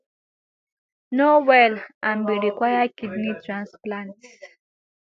no well and bin require kidney transplant